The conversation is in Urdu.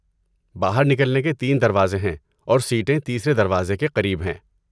باہر نکلنے کے تین دروازے ہیں، اور سیٹیں تیسرے دروازے کے قریب ہیں۔